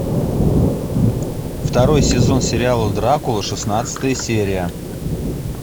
второй сезон сериала дракула шестнадцатая серия